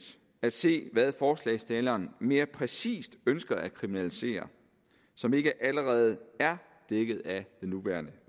at se hvad forslagsstillerne mere præcist ønsker at kriminalisere som ikke allerede er dækket af den nuværende